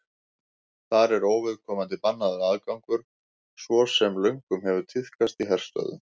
þar er óviðkomandi bannaður aðgangur svo sem löngum hefur tíðkast í herstöðvum